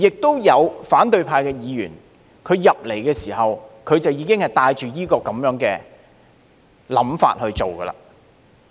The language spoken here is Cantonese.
也有反對派議員進入議會時，已經帶着這種想法去做。